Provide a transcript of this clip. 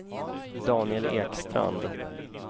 Daniel Ekstrand